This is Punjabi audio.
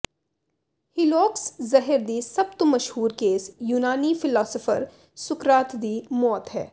ਹੀਲੌਕਜ਼ ਜ਼ਹਿਰ ਦੀ ਸਭ ਤੋਂ ਮਸ਼ਹੂਰ ਕੇਸ ਯੂਨਾਨੀ ਫ਼ਿਲਾਸਫ਼ਰ ਸੁਕਰਾਤ ਦੀ ਮੌਤ ਹੈ